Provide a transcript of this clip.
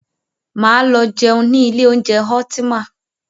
Máa lọ jẹun ní ilé oúnjẹ Ultima.